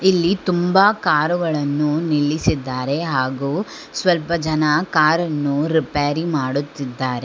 ಇಲ್ಲಿ ತುಂಬ ಕಾರುಗಳನ್ನು ನಿಲ್ಲಿಸಿದ್ದಾರೆ ಹಾಗು ಸ್ವಲ್ಪ ಜನ ಕಾರ್ ಅನ್ನು ರಿಪೇರಿ ಮಾಡುತ್ತಿದ್ದಾರೆ.